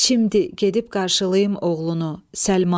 Şimdi gedib qarşılayım oğlunu.